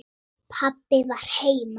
Pabbi var heima.